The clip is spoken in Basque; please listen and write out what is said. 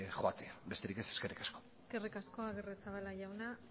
joatea besterik ez eskerrik asko eskerrik asko agirrezabala jauna